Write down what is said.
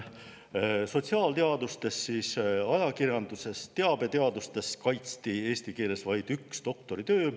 Sotsiaalteadustes, ajakirjanduses, teabeteadustes kaitsti eesti keeles vaid üks doktoritöö.